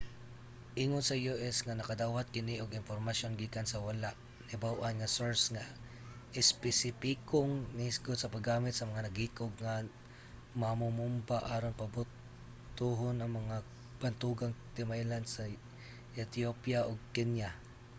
ingon ang u.s. nga nakadawat kini og impormasyon gikan sa wala nahibaw-an nga source nga espesipikong naghisgot sa paggamit sa mga naghikog nga mamomomba aron pabutohon ang mga bantugang timailhan sa ethiopia ug kenya